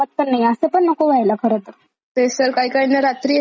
तेच तर काही काहींना रात्री अशी कन्टीनुएस पाहायची सवयच लागून जाते मग.